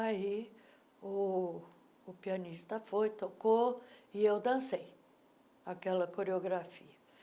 Aí o pianista foi, tocou e eu dancei aquela coreografia.